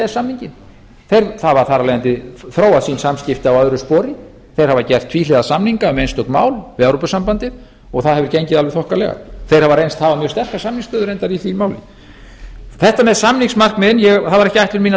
samninginn þeir hafa þar af leiðandi þróað sín samskipti á öðru spori þeir hafa gert tvíhliða samninga um einstök mál við evrópusambandið og það hefur gengið alveg þokkalega þeir hafa reynst hafa mjög sterka samningsstöðu í því máli þetta með samningsmarkmiðin það var ekki ætlun mín að